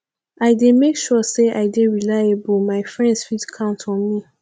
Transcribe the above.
i dey make sure sey i dey reliable my friends fit count on me